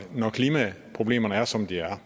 når klimaproblemerne er som de er er